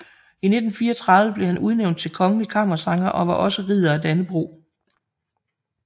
I 1934 blev han udnævnt til kongelig kammersanger og var også Ridder af Dannebrog